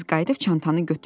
Tez qayıdıb çantanı götürdü.